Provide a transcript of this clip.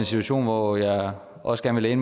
situation hvor jeg også gerne vil